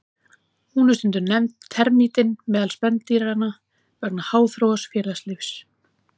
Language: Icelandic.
Hún er stundum nefnd termítinn meðal spendýranna vegna háþróaðs félagslífs.